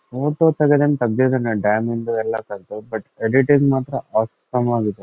Photo dam ಇಂದು ಎಲ್ಲಾ ತ್ಗದ್ದ ಬಟ್ ಏಡಿಟಿಂಗ್ ಮಾತ್ರ ಆಸಂ ಆಗಿದೆ.